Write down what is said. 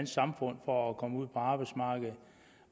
samfund for at komme ud på arbejdsmarkedet